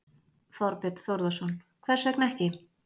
Þorbjörn Þórðarson: Hvers vegna ekki?